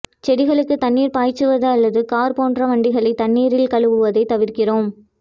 செடிகளுக்கு தண்ணீர் பாய்ச்சுவது அல்லது கார் போன்ற வண்டிகளை தண்ணீரில் கழுவுவதை தவிர்க்கிறோம்